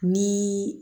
Ni